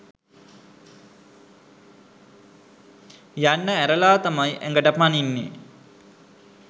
යන්න ඇරලා තමයි ඇඟට පනින්නේ.